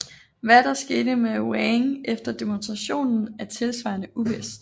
Hvad der skete med Wang efter demonstrationen er tilsvarende uvist